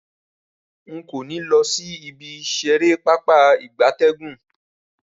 Rara, nko ni lo si ibi isere Pápá ìgbatẹ́gùn.